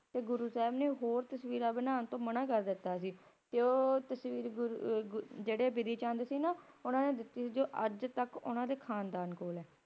ਤੇ ਗੁਰੂ ਸਾਹਿਬ ਨੇ ਹੋਰ ਤਸਵੀਰਾਂ ਬਣਾਉਣ ਤੋਂ ਮਨਾ ਕਰ ਦਿੱਤਾ ਸੀ, ਤੇ ਉਹ ਤਸਵੀਰ ਗੁਰੂ~ ਅ~ ਗੁਰ ਜਿਹੜੇ ਬਿਧੀ ਚੰਦ ਜੀ ਸੀ ਨਾ ਉਨ੍ਹਾਂ ਨੇ ਦਿੱਤੀ ਸੀ ਜਿਹੜੇ ਅੱਜ ਤੱਕ ਉਨ੍ਹਾਂ ਦੇ ਖਾਨਦਾਨ ਕੋਲ ਹੈ।